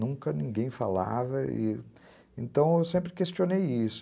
Nunca ninguém falava, então eu sempre questionei isso.